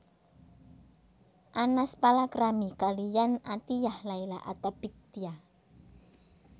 Anas palakrami kaliyan Athiyyah Laila Attabik Tia